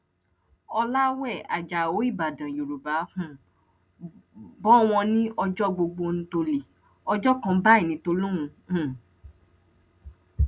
ọlàwé ajáò ìbàdàn yorùbá um bò wọn ní ọjọ gbogbo ń tọlé ọjọ kan báyìí ní tolọhun um